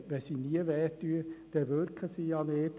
Wenn sie nie wehtun, dann wirken sie ja nicht.